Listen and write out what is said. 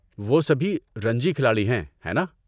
وہ سبھی رانجی کھلاڑی ہیں، ہے نا؟